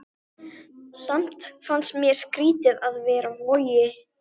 Heiðarr, hvað er á dagatalinu í dag?